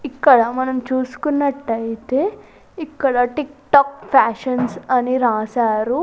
ఇక్కడ మనం చూసుకున్నట్లయితే ఇక్కడ టిక్ టాక్ ఫ్యాషన్స్ అని రాశారు.